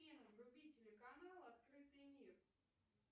афина вруби телеканал открытый мир